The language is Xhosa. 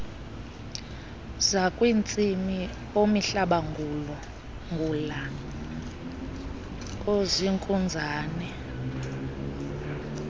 zakwantsimi oomihlabangula oozinkunzane